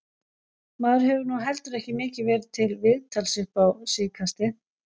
Maður hefur nú heldur ekki mikið verið til viðtals upp á síðkastið.